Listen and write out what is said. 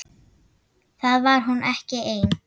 Var hún ekki ein?